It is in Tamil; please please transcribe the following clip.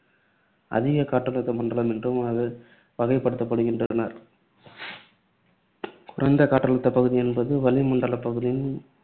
அதிக காற்றழுத்த மண்டலம் என்றும் அது வகைப்படுத்துகின்றனர். குறைந்த காற்றழுத்தப் பகுதி என்பது வளி மண்டலப் பகுதியின்